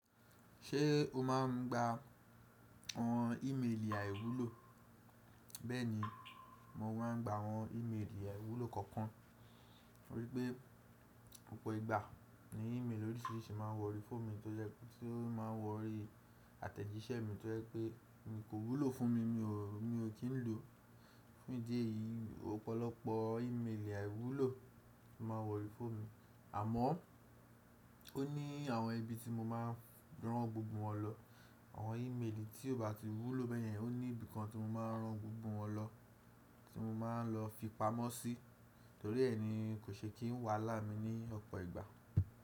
Ṣé o máa ń gba àwọn ìméèlì àìwúlò? Bẹ́ẹ̀ni, mo máa ń gba àwọn ìméèlì àìwúlò kọ̀ọ̀kan. To rí pé ọ̀pọ̀ ìgbà ni ìméèlì oríṣìíríṣìí máa ń wọrí phone mi tí ó máa ń wọrí àtẹ̀jíṣẹ́ mi tí ó jẹ́ pé mi kò wúlò fún mi, mi ò kín ló. Fún ìdí èyí, ọ̀pọ̀lọpọ̀ ìméèlì àìwúlò tó máa wọrí phone mi. Àmọ́ ó ní àwọn ibi tí mo máa rán gbogbo wọn lọ. Àwọn ìméèlì tí ò bá ti wúlò bẹ́ẹ̀ yẹn, ó ní ibi kan tí mo máa rán gbogbo wọn lọ, tí mo máa ń lọ fi pamọ́ sí, torí ẹni kò ṣe kí n wàhálà mi ní ọ̀pọ̀ ìgbà.